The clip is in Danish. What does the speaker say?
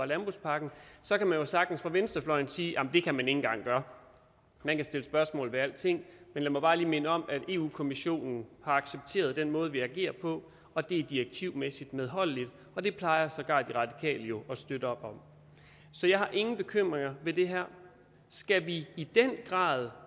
landbrugspakken så kan man jo sagtens fra venstrefløjen sige at det kan man ikke engang gøre man kan stille spørgsmål ved alting men lad mig minde om at europa kommissionen har accepteret den måde vi agerer på og det er direktivmæssigt medholdeligt og det plejer sågar de radikale jo at støtte op om så jeg har ingen bekymringer ved det her skal vi i den grad